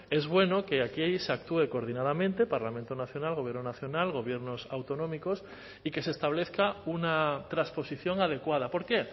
es bueno que aquí se actúe coordinadamente parlamento nacional gobierno nacional gobiernos autonómicos y que se establezca una transposición adecuada por qué